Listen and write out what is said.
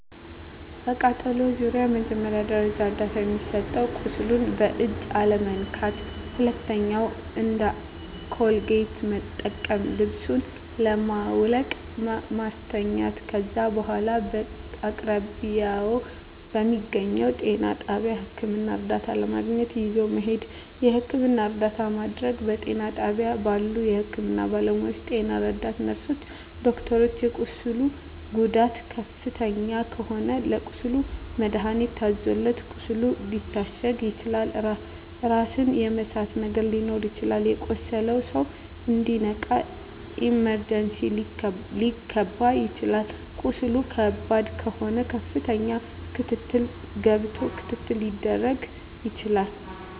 በቃጠሎ ዙሪያ መጀመሪያ ደረጃ እርዳታ የሚሰጠዉ ቁስሉን በእጅ አለመንካት ሁለተኛዉ እንደ ኮልጌት መጠቀም ልብሱን በማዉለቅ ማስተኛት ከዛ በኋላ በአቅራቢያዎ በሚገኘዉ ጤና ጣቢያ ህክምና እርዳታ ለማግኘት ይዞ መሄድ የህክምና እርዳታ ማድረግ በጤና ጣቢያ ባሉ የህክምና ባለሞያዎች ጤና ረዳት ነርስሮች ዶክተሮች የቁስሉ ጉዳት ከፍተኛ ከሆነ ለቁስሉ መድሀኒት ታዞለት ቁስሉ ሊታሸግ ይችላል ራስን የመሳት ነገር ሊኖር ይችላል የቆሰለዉ ሰዉ እንዲነቃ ኢመርጀንሲ ሊከባ ይችላል ቁስሉ ከባድ ከሆነ ከፍተኛ ክትትል ገብቶ ክትትል ሊደረግ ይችላል